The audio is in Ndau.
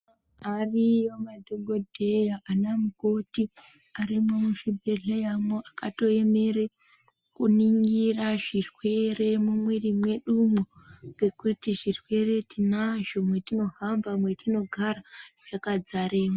Ariyo madhokodheya ana mukoti arimwo muzvi bhehleyamwo aka toemera kuningira zvirwere mumwiri mwedu mo ngekuti zvirwere tinazvi mwetino hamba metinogara zvakadzare mwo.